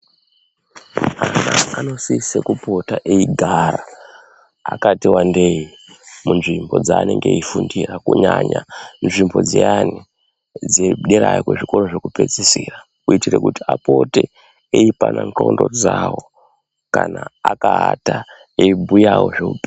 Vana vanosisa kupota vakati wandei veigara munzvimbo dzanenge eifundira kunyanya nzvimbo dziyani dziri dera kuzvikora zvekupedzisira kuitira Kuti apote eipana ngonxo dzawo kana akaata eiBhuyawo zvehupenyu.